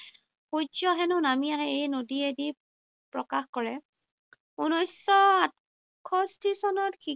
সূৰ্য্য হেনো নামি আহে এই নদীয়েদি প্ৰকাশ কৰে। ঊনৈশশ আঠষষ্ঠী চনত